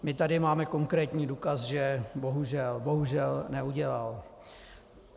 My tady máme konkrétní důkaz, že bohužel, bohužel neudělal.